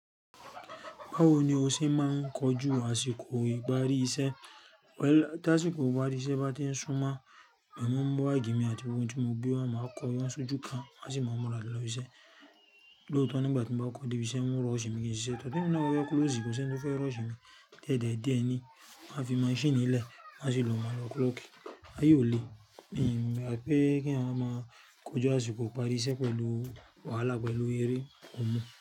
Báwo ni o ṣe máa ń kojú àsìkò ìparí iṣẹ́? Tásìkò ìparí iṣẹ́ bá ti ń súmọ́, mo máa ń mu bagi mi àti gbogbo ohun tí mo gbé wá, máa kọ won sojú kan, má sì máa múra lọ sí ilé. Lóòótọ́, nígbà tí mo bá kọ de ibí iṣẹ́, wọ́n ó rush mi kí n sisẹ, to, temi náà bafẹ close kò sí ẹni tó fẹ́ rush mi. Diẹ diẹ̀, díẹ̀ ni, wón a fi maṣíìnì lẹ̀, màá sì lo màlọ klọ́ọ̀kì. Aye o le, n gbà pé kí eeyan wa máa kojú àsìkò ìparí iṣẹ́ pẹ̀lú wàhálà pẹ̀lú eré kò mọ̀